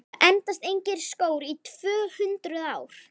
Það endast engir skór í tvö-hundruð ár!